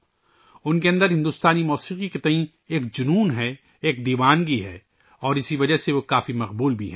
ان کے اندر بھارتی موسیقی کو لے کر ایک جنون ہے ، ایک دیوانگی ہے اور اسی وجہ سے وہ بہت مقبول بھی ہیں